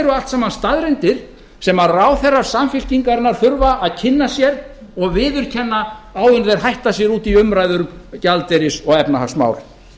eru allt saman staðreyndir sem ráðherrar samfylkingarinnar þurfa að kynna sér og viðurkenna áður en þeir hætta sér út í umræður um gjaldeyris og efnahagsmál